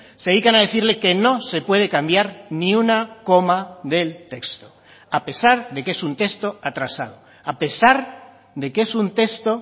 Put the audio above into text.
se dedican a decirle que no se puede cambiar ni una coma del texto a pesar de que es un texto atrasado a pesar de que es un texto